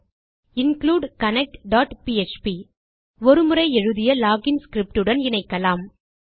include connect php ஒரு முறை எழுதிய லோகின் ஸ்கிரிப்ட் உடன் இணைக்கலாம்